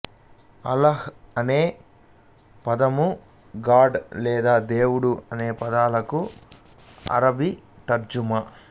అల్లాహ్ అనే పదము గాడ్ లేదా దేవుడు అనే పదాలకు అరబ్బీ తర్జుమా